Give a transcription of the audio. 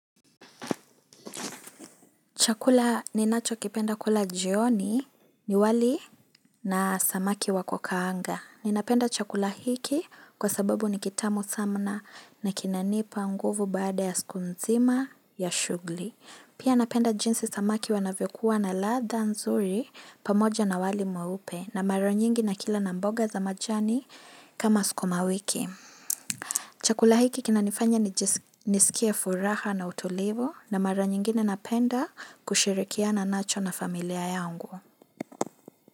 Chakula ninachokipenda kula jioni ni wali na samaki wa kukaanga. Ninapenda chakula hiki kwa sababu ni kitamu sana na kinanipa nguvu baada ya siku nzima ya shughuli. Pia napenda jinsi samaki wanavyokuwa na ladha nzuri pamoja na wali mweupe na mara nyingi nikila na mboga za majani kama skuma wiki. Chakula hiki kinanifanya ni nisikia furaha na utulivu na mara nyingine napenda kushirikiana nacho na familia yangu.